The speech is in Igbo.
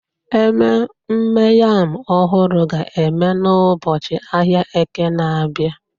Ememme Yam ọhụrụ ga-eme n'ụbọchị ahịa Eke na-abịa